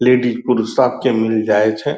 लेडिज पुरू सबके मिल जाय छै।